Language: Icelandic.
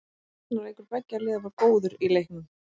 Varnarleikur beggja liða var góður í leiknum.